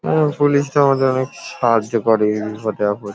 অ্যা police -টা আমাদের অনেক সাহায্য করে ইনফর্ম দেওয়ার পর ।